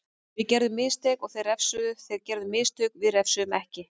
Við gerðum mistök og þeir refsuðu, þeir gerðu mistök við refsuðum ekki.